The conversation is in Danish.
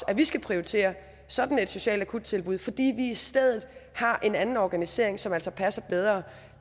at de skal prioritere sådan et socialt akuttilbud fordi de i stedet har en anden organisering som altså passer bedre